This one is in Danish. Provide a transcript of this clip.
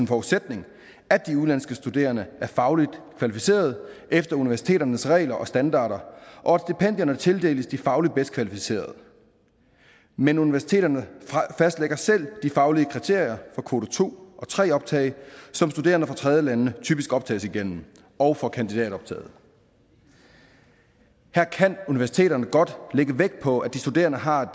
forudsætning at de udenlandske studerende er fagligt kvalificerede efter universiteternes regler og standarder og at stipendierne tildeles de fagligt bedst kvalificerede men universiteterne fastlægger selv de faglige kriterier for kvote to og tre optag som studerende fra tredjelande typisk optages igennem og for kandidatoptaget her kan universiteterne godt lægge vægt på at de studerende har et